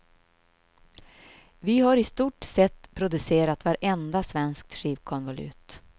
Vi har i stort sett producerat vartenda svenskt skivkonvolut.